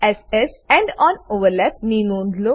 s S end on overlap ની નોંધ લો